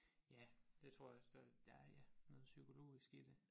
Ja det tror jeg også der der er ja noget psykologisk i det